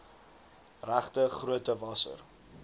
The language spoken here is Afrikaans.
regte grootte wasser